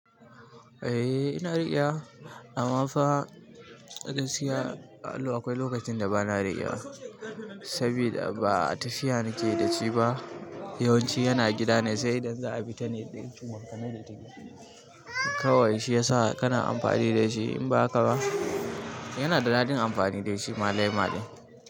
Eh ina riƙewa amma fa gaskiya allo akwai lokacin da bana riƙewa sabida ba tafiya nake da shi ba. Yawan ci yana gida ne sai idan za a fi ta ne dai kuma ka nai da take. Kawai shi ya sa kana amfani da shi in ba haka ba yana da naɗin amfani dai shi ma laima ɗin.